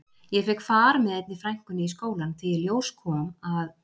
Ég fékk far með einni frænkunni í skólann því í ljós kom að